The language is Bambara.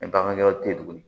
bagan wɛrɛw tɛ ye tuguni